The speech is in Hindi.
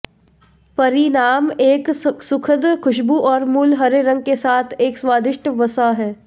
परिणाम एक सुखद खुशबू और मूल हरे रंग के साथ एक स्वादिष्ट वसा है